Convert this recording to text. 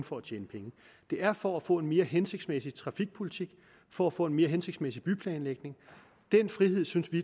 for at tjene penge det er for at få en mere hensigtsmæssig trafikpolitik for at få en mere hensigtsmæssig byplanlægning den frihed synes vi